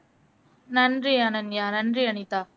நன்றி அனன்யா நன்றி அனிதா